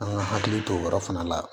An ka hakili to o yɔrɔ fana la